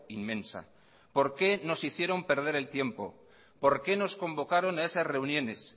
inmensa por qué nos hicieron perder el tiempo por qué nos convocaron a esas reuniones